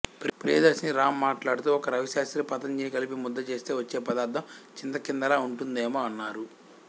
ప్రియదర్శిని రామ్ మాట్లాడుతూ ఒక రావిశాస్త్రి పతంజలిని కలిపి ముద్ద చేస్తే వచ్చే పదార్థం చింతకిందిలా ఉంటుందేమో అన్నారు